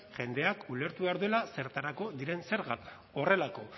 jendeak ulertu behar duela zertarako diren zergak